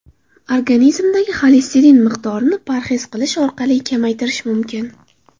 Organizmdagi xolesterin miqdorini parhez qilish orqali kamaytirish mumkin.